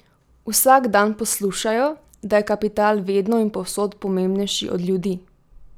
Vsak dan poslušajo, da je kapital vedno in povsod pomembnejši od ljudi!